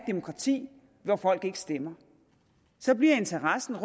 demokrati hvor folk ikke stemmer så bliver interessen